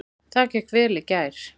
Það gekk vel í gær.